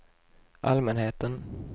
allmänheten